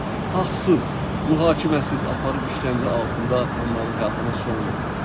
haqsız, mühakiməsiz aparıb işkəncə altında onların həyatına son qoydular.